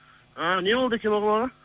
ы не болды екен ол балаға